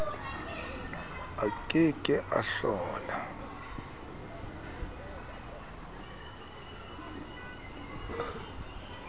a ke ke a hlola